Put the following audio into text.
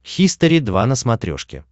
хистори два на смотрешке